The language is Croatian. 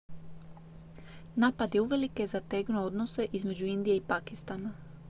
napad je uvelike zategnuo odnose između indije i pakistana